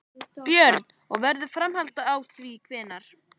Björn: Og verður framhald þá hvenær?